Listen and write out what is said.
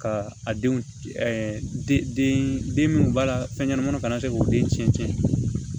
Ka a denw den minnu b'a la fɛn ɲɛnamaniw kana se k'u den tiɲɛ tiɲɛ